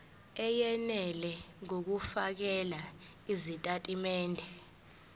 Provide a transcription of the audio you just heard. eyenele ngokufakela izitatimende